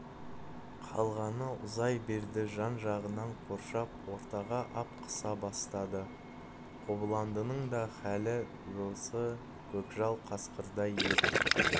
қалғаны ұзай берді жан-жағынан қоршап ортаға ап қыса бастады қобыландының да халі осы көкжал қасқырдай еді